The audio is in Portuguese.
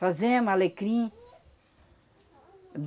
alecrim.